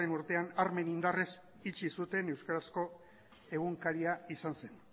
urtean armen indarrez itxi zuten euskarazko egunkaria izan zen